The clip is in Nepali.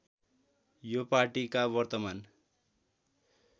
यो पार्टीका वर्तमान